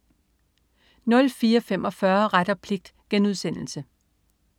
04.45 Ret og pligt*